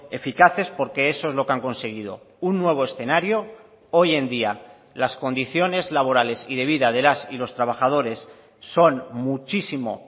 eficaces porque eso es lo que han conseguido un nuevo escenario hoy en día las condiciones laborales y de vida de las y los trabajadores son muchísimo